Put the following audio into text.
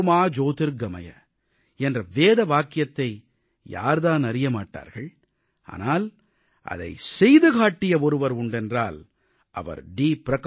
தமஸோ மா ஜோதிர்கமய என்ற வேத வாக்கியத்தை யார்தான் அறிய மாட்டார்கள் ஆனால் அதைச் செய்து காட்டிய ஒருவர் உண்டென்றால் அவர் டி